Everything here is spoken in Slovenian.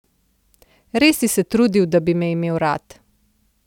Res si se trudil, da bi me imel rad.